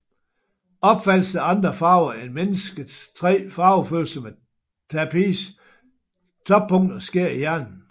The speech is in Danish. Opfattelsen af andre farver end mennesket tre farvefølsomme tappes toppunkter sker i hjernen